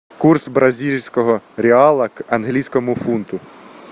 курс бразильского реала к английскому фунту